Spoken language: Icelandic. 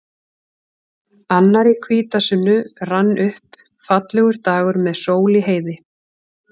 Annar í hvítasunnu rann upp, fallegur dagur með sól í heiði.